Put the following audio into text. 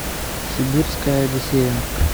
сибирская одиссея